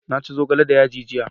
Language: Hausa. na ci zogale da yaji jiya